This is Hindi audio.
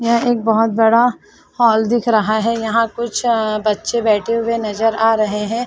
यहाँ एक बहुत बड़ा हॉल दिख रहा है यहां कुछ बच्चे बैठे हुए नजर आ रहे है।